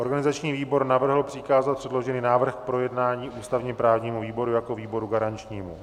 Organizační výbor navrhl přikázat předložený návrh k projednání ústavně-právnímu výboru jako výboru garančnímu.